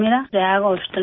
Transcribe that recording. پریاگ ہسپتال میں